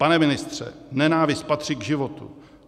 Pane ministře, nenávist patří k životu.